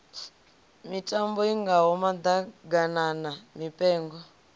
mitambo i ngaho maḓaganana mipengo